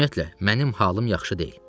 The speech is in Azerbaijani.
Ümumiyyətlə, mənim halım yaxşı deyil.